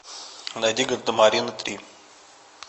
найди гардемарины три